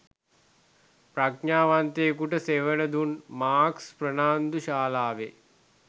ප්‍රඥාවන්තයකුට සෙවණ දුන් මාකස් ප්‍රනාන්දු ශාලාවේ